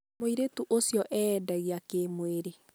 Mũirĩtu ũcio eendagia kĩmwĩrĩ.